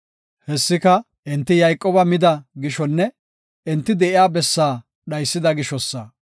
Hessika enti Yayqooba mida gishonne enti de7iya bessaa dhaysida gishosa.